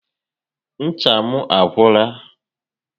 Ncha m agwụla